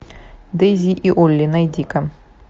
дейзи и олли найди ка